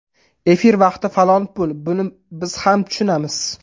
Efir vaqti falon pul, buni biz ham tushunamiz.